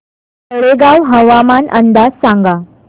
तळेगाव हवामान अंदाज सांगा